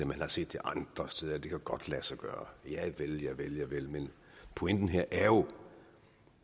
man har set det andre steder at det godt kan lade sig gøre javel javel javel men pointen her er jo